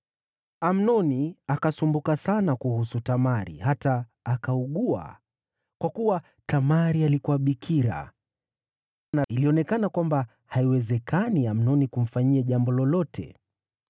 Amnoni akasumbuka sana kuhusu Tamari hata akaugua, kwa kuwa Tamari alikuwa bikira, na ilionekana kwamba haiwezekani Amnoni kumfanyia jambo lolote.